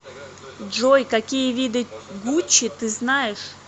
джой какие виды гуччи ты знаешь